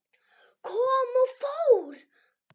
Kom og fór.